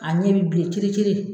A ɲɛ bi bilen kiri kiri